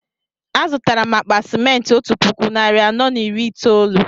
Azutara m akpa simenti otú puku narị anọ na iri itoolu